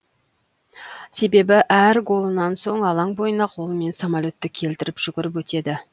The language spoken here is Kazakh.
себебі әр голынан соң алаң бойына қолымен самолетты келтіріп жүгіріп өтеді